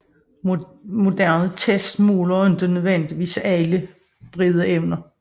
Moderne tests måler ikke nødvendigvis alle disse brede evner